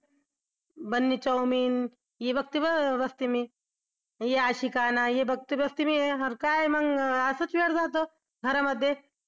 बघते मी ये अशिकाना हे बघते बघते मी अरे काय मग असच वेळ जातो घरामध्ये